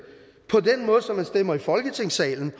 hvor som man stemmer i folketingssalen